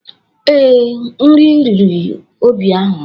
Ee, nri riri Obi ahụ.